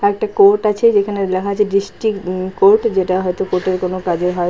একটা কোর্ট আছে যেখানে লেখা আছে ডিস্ট্রিক্ট উম- কোর্ট যেটা হয়তো কোর্ট - এর কোনো কাজ হয়।